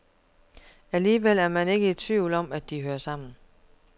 Alligevel er man ikke i tvivl om, at de hører sammen.